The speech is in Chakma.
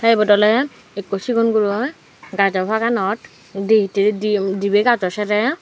te ebot oley ekko sigon guroi gajo paganot di hittedi diye dibey gajo serey.